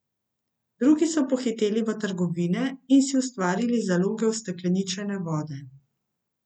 Drugi so pohiteli v trgovine in si ustvarili zaloge ustekleničene vode.